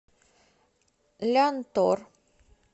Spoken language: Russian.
лянтор